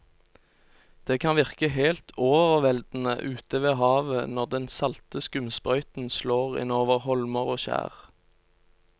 Det kan virke helt overveldende ute ved havet når den salte skumsprøyten slår innover holmer og skjær.